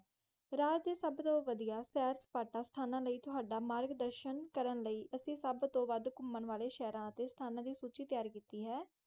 ਰਾਜ ਡੇ ਸਬ ਤੋਂ ਵਾਦੀਆਂ ਸੀ ਸਪਾ ਕਰਨ ਲਾਇ ਵਾਲੇ ਸਤਾਣਾ ਥੁੜਾਂ ਮਾਰਗ ਦਰਸ਼ਨ ਕਰਨ ਲਾਇ ਦੀ ਇਕ ਸੂਚੀ ਤੈਯਾਰ ਕੀਤੀ ਹੈ